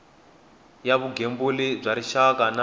ya vugembuli bya rixaka na